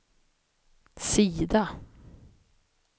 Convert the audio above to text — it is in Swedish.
sida